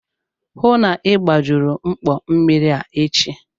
Hụụ na Ị gbajuru mkpọ mmiri a echi!